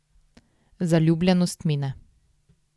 Zaljubljenost mine.